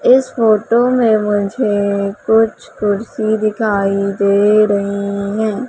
इस फोटो में मुझे कुछ कुर्सी दिखाई दे रही हैं।